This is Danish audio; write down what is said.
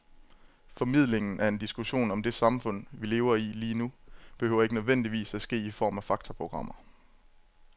Formidlingen af en diskussion om det samfund, vi lever i lige nu, behøver ikke nødvendigvis at ske i form af faktaprogrammer.